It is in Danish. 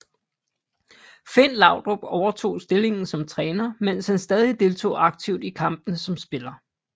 Finn Laudrup overtog stillingen som træner mens han stadig deltog aktivt i kampene som spiller